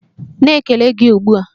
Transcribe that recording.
Na-ekele gị ugbu a!